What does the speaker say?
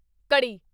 ਘੜੀ